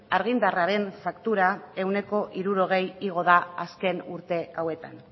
argindarraren faktura ehuneko hirurogei igo da azken urte hauetan